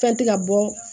Fɛn tɛ ka bɔ